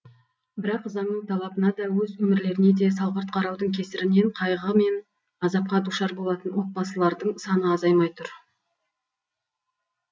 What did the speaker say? бірақ заңның талабына да өз өмірлеріне де салғырт қараудың кесірінен қайғы мен азапқа душар болатын отбасылардың саны азаймай тұр